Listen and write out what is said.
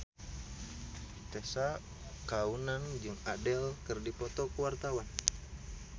Tessa Kaunang jeung Adele keur dipoto ku wartawan